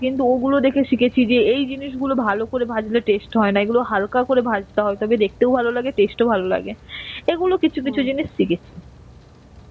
কিন্তু, ওগুলো দেখে শিখেছি যে এই জিনিসগুলো ভালো করে ভাজলে test হয়না. এগুলো হাল্কা করে ভাজতে হয় তাকে দেখতেও ভালো লাগে test ও ভালো লাগে. এগুলো কিছু কিছু জিনিস শিখেছি.